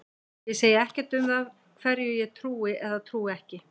Ég segi ekkert um það hverju ég trúi eða trúi ekki.